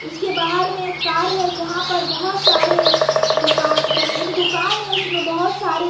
उसके बाहर में एक कर है जहां पर बहुत सारे दुकान एक दुकान है उसमें बहुत सारे--